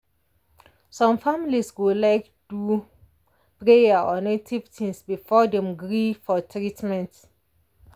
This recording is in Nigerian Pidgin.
some families go like do prayer or native things before dem gree for treatment.